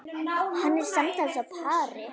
Hann er samtals á pari.